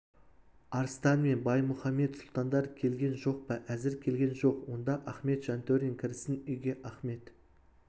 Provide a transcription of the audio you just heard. арыстан мен баймұхамед сұлтандар келген жоқ па әзір келген жоқ онда ахмет жантөрин кірсін үйге ахмет